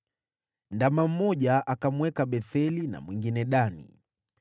Ndama mmoja akamweka Betheli na mwingine Dani.